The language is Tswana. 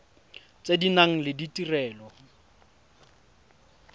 tse di nang le ditirelo